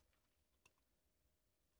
DR2